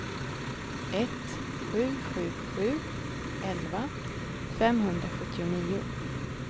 ett sju sju sju elva femhundrasjuttionio